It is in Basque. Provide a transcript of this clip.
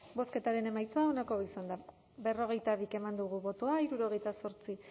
bozketaren emaitza onako izan da berrogeita bi eman dugu bozka hirurogeita zortzi